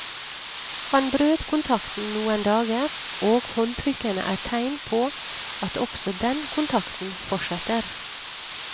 Han brøt kontakten noen dager, og håndtrykkene er tegn på at også den kontakten fortsetter.